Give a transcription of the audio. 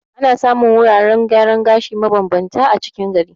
Ana samun wuraren gyaran gashi ma bambanta a cikin gari.